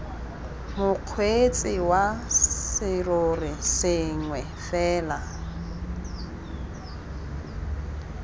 mokgweetsi wa serori sengwe fela